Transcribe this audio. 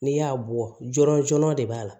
N'i y'a bɔ jɔn de b'a la